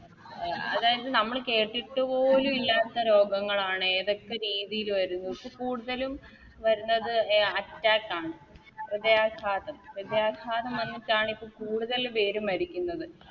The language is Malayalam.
എ അതായത് നമ്മള് കേട്ടിട്ട് പോലും ഇല്ലാത്ത രോഗങ്ങളാണ് ഏതൊക്കെ രീതില് വരുന്നു ഇപ്പം കൂടുതലും വരുന്നത് Attack ആണ് ഹൃദയാഘാതം ഹൃദയാഘാതം വന്നിട്ടാണിപ്പോ കൂടുതൽ പേരും മരിക്കുന്നത്